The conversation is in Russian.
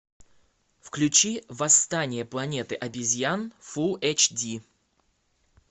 включи восстание планеты обезьян фулл эйч ди